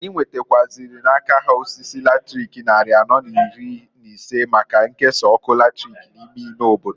Anyị nwetakwụazịlị n'aka ha osisi latrik nnarị anọọ n'iri n'ise, maka nkesa ọkụ latrik n'ime ime obodo.